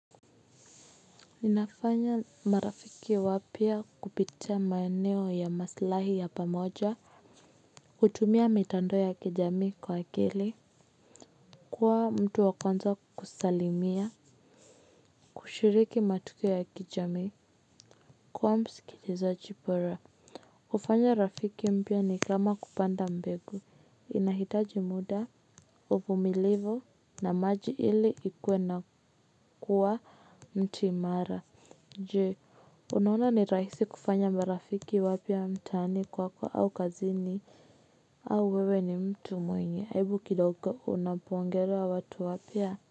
Ninafanya marafiki wapya kupitia maeneo ya maslahi ya pamoja. Hutumia mitando ya kijamii kwa akili. Kuwa mtu wa kwanza kusalimia. Kushiriki matukio ya kijamii. Kuwa msikilizachi pora. Kufanya rafiki mpya ni kama kupanda mbegu. Inahitaji muda, uvumilivu na maji ili ikuwe na kuwa mti imara. Jee, unaona ni rahisi kufanya marafiki wapya mtaani kwako au kazini. Au wewe ni mtu mwingi, aibu kidogo unapongera wa watu wapya?